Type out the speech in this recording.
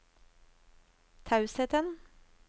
tausheten